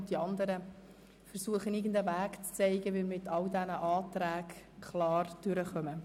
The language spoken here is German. Bei den anderen Artikeln versuche ich einen Weg aufzuzeigen, damit wir mit all diesen Anträgen klarkommen.